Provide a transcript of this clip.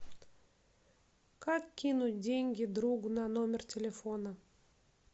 как кинуть деньги другу на номер телефона